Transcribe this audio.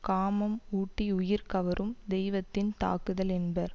காமம் ஊட்டி உயிர் கவரும் தெய்வத்தின் தாக்குதல் என்பர்